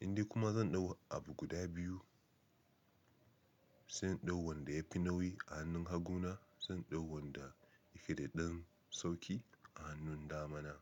Indai kuma zan dau abu guda biyu, sai in dau wanda yafi nauyi a hannun hagu na, sai in dau wanda yake da ɗan sauƙi a hannun dama na.